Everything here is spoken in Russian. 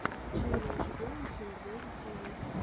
челлендж боунсинг бэби ти ви